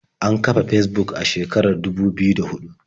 An kafa Fesbuk a shekarar dubu biyu da huɗu.